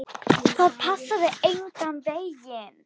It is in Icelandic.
Það passaði engan veginn.